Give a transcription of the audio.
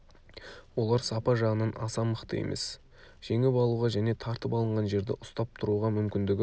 олар сапа жағынан аса мықты емес жеңіп алуға және тартып алынған жерді ұстап тұруға мүмкіндігі